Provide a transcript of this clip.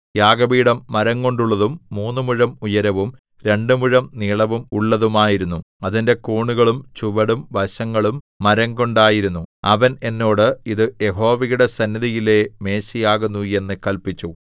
യാഗപീഠം മരംകൊണ്ടുള്ളതും മൂന്നു മുഴം ഉയരവും രണ്ടു മുഴം നീളവും ഉള്ളതുമായിരുന്നു അതിന്റെ കോണുകളും ചുവടും വശങ്ങളും മരംകൊണ്ടായിരുന്നു അവൻ എന്നോട് ഇത് യഹോവയുടെ സന്നിധിയിലെ മേശയാകുന്നു എന്ന് കല്പിച്ചു